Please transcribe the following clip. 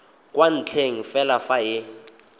kwa ntle fela fa e